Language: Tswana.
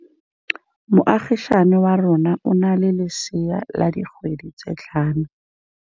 Moagisane wa rona o na le lesea la dikgwedi tse tlhano.